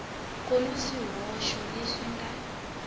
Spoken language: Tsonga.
ku na swihoxo leswi nga